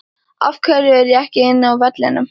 Af hverju er ég ekki inni á vellinum?